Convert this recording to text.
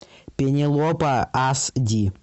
пенелопа аш ди